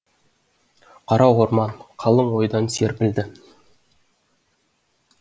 қара орман қалың ойдан серпілді